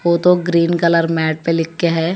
वो तो green colour mat पे लिख के है।